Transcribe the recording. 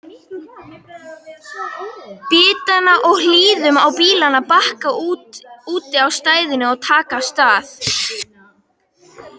bitanna og hlýðum á bílana bakka úti á stæðinu og taka af stað.